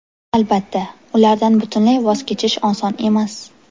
Albatta, ulardan butunlay voz kechish oson emas.